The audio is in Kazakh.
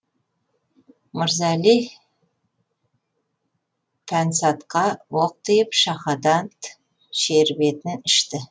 мырза әли пансатқа оқ тиіп шахадат шербетін ішті